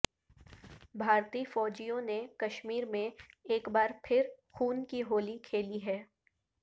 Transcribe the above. بھارتی فوجیوں نے کشمیر میں ایک بار پھر خون کی ہولی کھیلی ہے